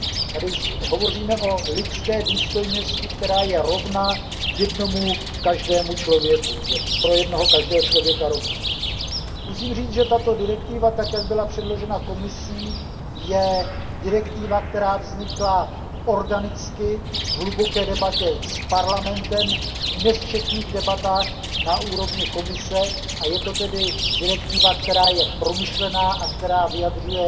Tady hovoříme o lidské důstojnosti, která je pro jednoho každého člověka rovná. Musím říct, že tato direktiva tak, jak byla předložena Komisí, je direktiva, která vznikla organicky, v hluboké debatě s Parlamentem, v nesčetných debatách na úrovni Komise, a je to tedy direktiva, která je promyšlená a která vyjadřuje